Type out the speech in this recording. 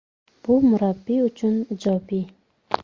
Bu murabbiy uchun ijobiy.